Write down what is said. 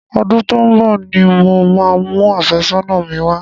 Ọdún tó ń bọ ni mo máa mu àfẹ́sọ́nà mi wá.